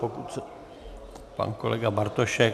Pokud chce pan kolega Bartošek...